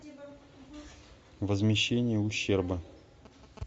возмещение ущерба